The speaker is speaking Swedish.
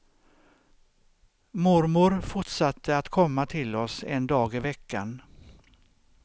Mormor fortsatte att komma till oss en dag i veckan.